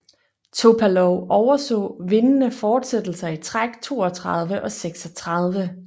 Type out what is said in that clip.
Topalov overså vindende fortsættelser i træk 32 og 36